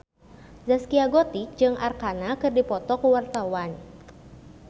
Zaskia Gotik jeung Arkarna keur dipoto ku wartawan